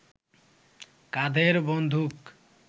কাঁধের বন্দুক